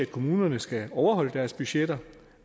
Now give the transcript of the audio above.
kommunerne skal overholde deres budgetter